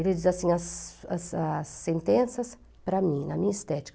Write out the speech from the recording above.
Ele diz assim, as as as sentenças, para mim, na minha estética.